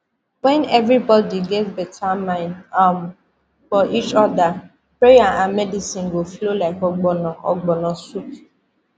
when everybody get better mind um for each other prayer and medicine go flow like ogbono ogbono soup